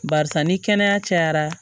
Barisa ni kɛnɛya cayara